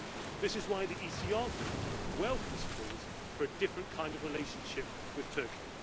This is why the ECR Group welcomes calls for a different kind of relationship with Turkey.